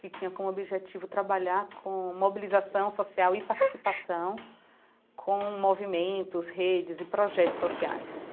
que tinha como objetivo trabalhar com mobilização social e participação, com movimentos, redes e projetos sociais.